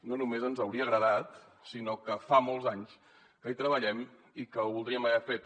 no només ens hauria agradat sinó que fa molts anys que hi treballem i que ho voldríem haver fet